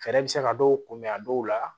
Fɛɛrɛ bɛ se ka dɔw kunbɛn a dɔw la